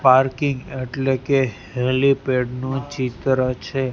Parking એટલે કે helipad નું ચિત્ર છે.